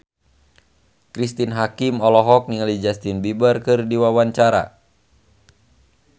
Cristine Hakim olohok ningali Justin Beiber keur diwawancara